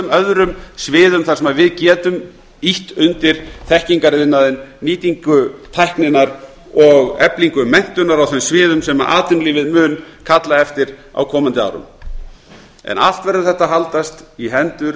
öðrum sviðum þar sem við getum ýtt undir þekkingariðnaðinn nýtingu tækninnar og eflingu menntunar á þeim sviðum sem atvinnulífið mun kalla eftir á komandi árum allt verður þetta að haldast í hendur